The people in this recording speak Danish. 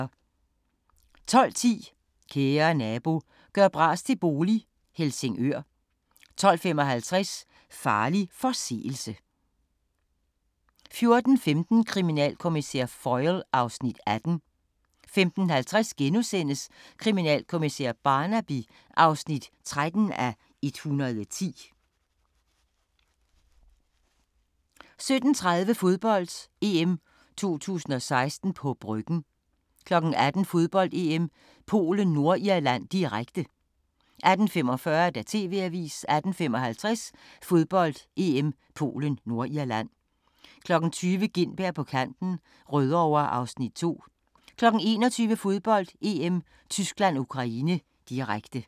12:10: Kære nabo – gør bras til bolig - Helsingør 12:55: Farlig forseelse 14:15: Kriminalkommissær Foyle (Afs. 18) 15:50: Kriminalkommissær Barnaby (13:110)* 17:30: Fodbold: EM 2016 – på Bryggen 18:00: Fodbold: EM - Polen-Nordirland, direkte 18:45: TV-avisen 18:55: Fodbold: EM - Polen-Nordirland 20:00: Gintberg på kanten - Rødovre (Afs. 2) 21:00: Fodbold: EM - Tyskland-Ukraine, direkte